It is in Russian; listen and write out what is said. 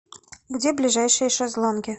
где ближайшие шезлонги